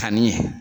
Kanni